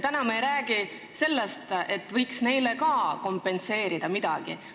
Täna me ei räägi sellest, et võiks neile ka kompenseerida midagi.